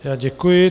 Já děkuji.